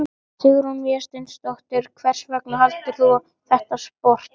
Sigrún Vésteinsdóttir: Hvers vegna valdir þú þetta sport?